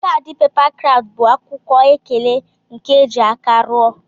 Kadi pepa kraft bu akwụkwọ ekele nke eji aka rụọ.